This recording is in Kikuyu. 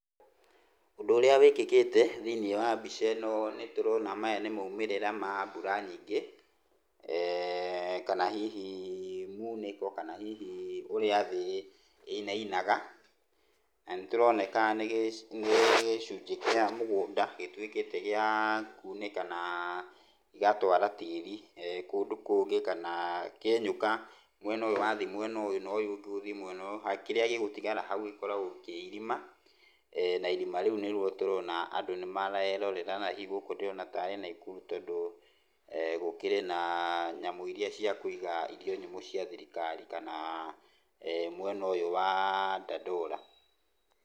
Ũndũ ũrĩa wĩkĩkĩte thĩiniĩ wa mbica ĩno nĩtũrona maya nĩ maumĩrĩra ma mbura nyingĩ, kana hihi munĩko, kana hihi ũrĩa thĩ ĩinainaga. Na nĩtũroneka nĩ gĩcunjĩ kĩa mũgũnda gĩtuĩkĩte gĩa kunĩka na gĩgatwara tĩri kũndũ kũngĩ kana kĩenyũka mwena ũyũ wathiĩ mwena ũyũ, na ũyũ ũngĩ ũthiĩ mwena ũyũ, kĩrĩa gĩgũtigara hau gĩkoragwo kĩ irima, na irima nĩruo tũrona andũ nĩmarerorera na hihi gũkũ ndĩrona tarĩ Naikuru tondũ gũkĩrĩ na nyamũ iria cia kuiga irio nyũmũ cia thirikari kana mwena ũyũ wa Dandora.